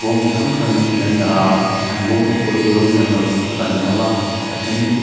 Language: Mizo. rawng chi hrang hrangin thil an dah a an bawm te pawh chu rawng inang lo tak tak a ni hlawm a a then--